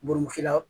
Burusi la